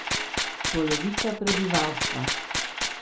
Polovica prebivalstva.